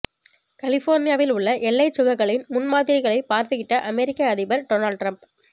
கலிபோர்னியாவில் உள்ள எல்லைச் சுவர்களின் முன்மாதிரிகளை பார்வையிட்ட அமெரிக்க அதிபர் டொனால்ட் டிரம்ப்